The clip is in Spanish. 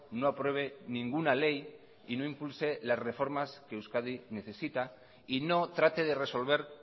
no apruebe ninguna ley y no impulse las reformar que euskadi necesita y no trate de resolver